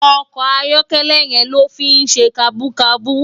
Òkò àyòkèlè yèn ló fi n sé kàbúkàbú